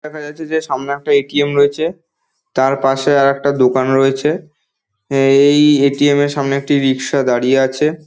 দেখা যাচ্ছে যে সামনে একটা এ.টি.এম. রয়েছে তার পশে এর একটা দোকান রয়েছে এ- এ- ই এ.টি.এম. সামনে একটা রিকশা দাঁড়িয়ে আছে।